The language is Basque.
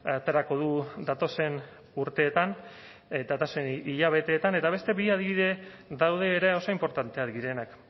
aterako du datozen urteetan datozen hilabeteetan eta beste bi adibide daude ere oso inportantea direnak